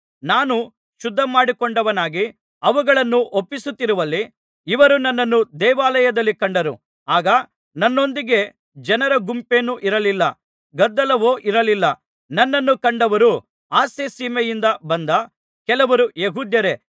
ನಾನು ಶುದ್ಧಮಾಡಿಕೊಂಡವನಾಗಿ ಅವುಗಳನ್ನು ಒಪ್ಪಿಸುತ್ತಿರುವಲ್ಲಿ ಇವರು ನನ್ನನ್ನು ದೇವಾಲಯದಲ್ಲಿ ಕಂಡರು ಆಗ ನನ್ನೊಂದಿಗೆ ಜನರ ಗುಂಪೇನೂ ಇರಲಿಲ್ಲ ಗದ್ದಲವೂ ಇರಲಿಲ್ಲ ನನ್ನನ್ನು ಕಂಡವರು ಆಸ್ಯಸೀಮೆಯಿಂದ ಬಂದ ಕೆಲವು ಯೆಹೂದ್ಯರೇ